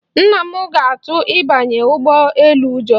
Nna m ga-atụ ịbanye ụgbọ elu ụjọ.